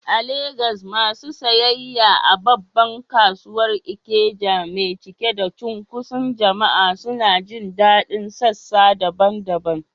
A Legas, masu sayayya a babbar kasuwar Ikeja mai cike da cunkoson jama’a suna jin daɗin sassa daban-daban.